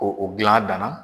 O o gilan a danna.